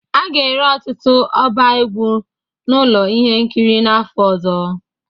A ga-ere ọtụtụ ọba egwu na ụlọ ihe nkiri n'afọ ọzọ